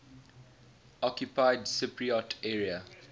occupied cypriot area